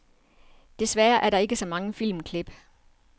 Desværre er der ikke så mange filmklip.